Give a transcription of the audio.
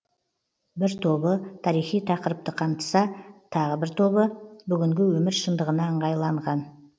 бір тобы тарихи тақырыпты қамтыса тағы бір тобы бүгінгі өмір шындығына ыңғайланған